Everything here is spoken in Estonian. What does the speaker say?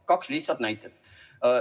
Kaks lihtsat näidet.